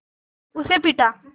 उसे पीटा